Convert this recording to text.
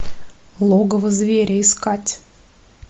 логово зверя искать